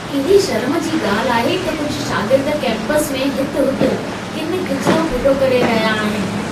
केॾे शर्म जी ॻाल्हि आहे त कुझु शागिर्द केम्पस में हित हुत किन किचिरो फिटो करे रहिया आहिनि।